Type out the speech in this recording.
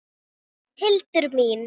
Hildur mín!